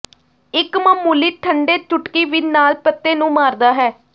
ਇੱਕ ਮਾਮੂਲੀ ਠੰਡੇ ਚੁਟਕੀ ਵੀ ਨਾਲ ਪੱਤੇ ਨੂੰ ਮਾਰਦਾ ਹੈ